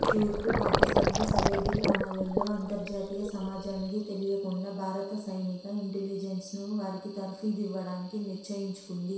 తూర్పు పాకిస్తాన్కు సరిహద్దు గ్రామాల్లో అంతర్జాతీయసమాజానికి తెలియకుండా భారత సైనిక యింటెలిజెన్సు వారికి తర్ఫీదు యివ్వడానికి నిశ్చయించుకుంది